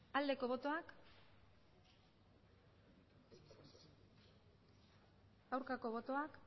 aldeko botoak aurkako botoak